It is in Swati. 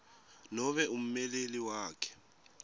nobe ummeleli wakhe